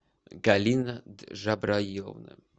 галина джабраиловна